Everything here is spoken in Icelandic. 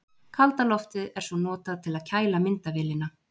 Kalda loftið er svo notað til að kæla myndavélina.